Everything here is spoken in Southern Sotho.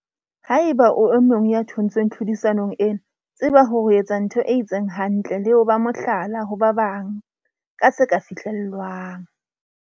Haeba o e mong ya thontsweng tlhodisanong ena, tseba hore o etsa ntho e itseng hantle le ho ba mohlala ho ba bang ka se ka fihlellwang.